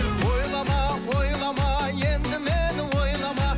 ойлама ойлама енді мені ойлама